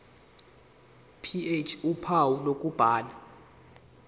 ph uphawu lokubhala